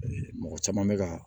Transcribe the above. Mɔgɔ caman bɛ ka